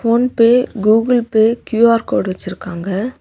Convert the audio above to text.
PhonePe Google Pay Q R code வெச்சிருக்காங்க.